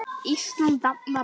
Ísland dafnar vel.